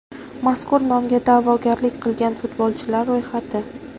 Mazkur nomga da’vogarlik qilgan futbolchilar ro‘yxati: !